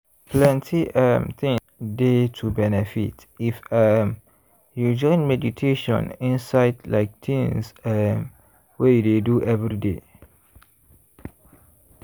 plenty um things dey to benefit if um you join meditation inside like tins um wey you dey do everyday.